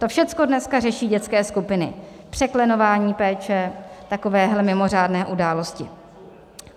To všechno dneska řeší dětské skupiny, překlenování péče, takovéhle mimořádné události.